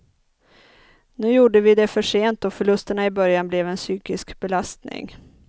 Nu gjorde vi det för sent och förlusterna i början blev en psykisk belastning.